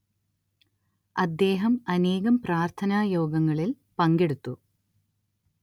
അദ്ദേഹം അനേകം പ്രാർത്ഥനാ യോഗങ്ങളിൽ പങ്കെടുത്തു